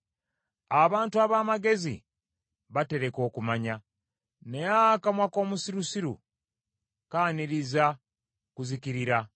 Abantu ab’amagezi batereka okumanya, naye akamwa k’omusirusiru kaaniriza kuzikirira.